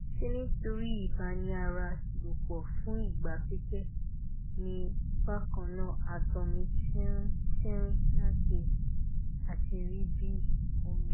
ṣé nítorí ìbáni ara lòpọ̀ fún ìgbà pípẹ́ ni bákan náà ààtọ̀ mi ti tínrín àti àti rí bí omi